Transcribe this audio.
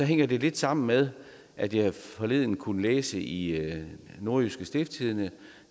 hænger lidt sammen med at jeg forleden kunne læse i nordjyske stiftstidende